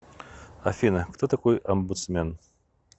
афина кто такой омбудсмен